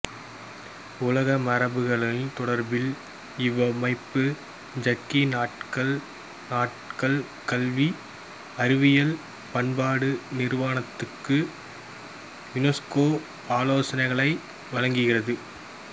உலக மரபுக் களங்கள் தொடர்பில் இவ்வமைப்பு ஐக்கிய நாடுகள் கல்வி அறிவியல் பண்பாட்டு நிறுவனத்துக்கு யுனெஸ்கோ ஆலோசனைகளை வழங்கி வருகிறது